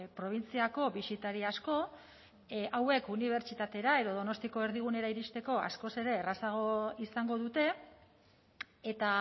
probintziako bisitari asko hauek unibertsitatera edo donostiako erdigunera iristeko askoz ere errazago izango dute eta